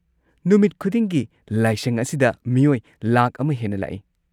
ꯅꯨꯃꯤꯠ ꯈꯨꯗꯤꯡꯒꯤ ꯂꯥꯏꯁꯪ ꯑꯁꯤꯗ ꯃꯤꯑꯣꯏ ꯂꯥꯈ ꯑꯃ ꯍꯦꯟꯅ ꯂꯥꯛꯏ꯫